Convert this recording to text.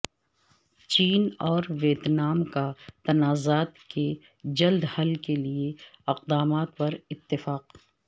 چین اور ویتنام کا تنازعات کے جلد حل کے لیے اقدامات پر اتفاق